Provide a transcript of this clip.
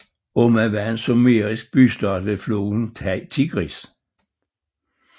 Umma var en sumerisk bystat ved floden Tigris